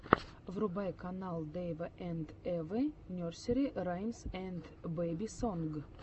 врубай канал дэйва энд эвы нерсери раймс энд бэби сонг